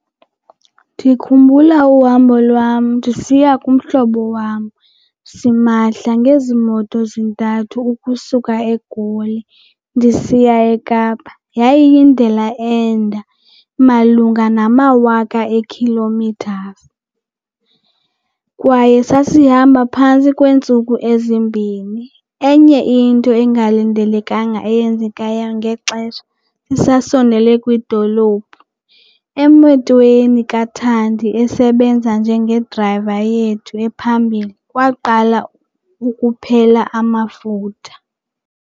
Ndikhumbula uhambo lwam ndisiya kumhlobo wam simahla ngezi moto zintathu ukusuka eGoli ndisiya ekapa. Yayindlela ende malunga namawaka eekhilomithazi kwaye sasihamba phantsi kweentsuku ezimbini. Enye into engalindelekanga eyenzekayo ngexesha sisasondele kwidolophu, emotweni kaThandi esebenza njengedrayiva yethu ephambili kwaqala ukuphela amafutha.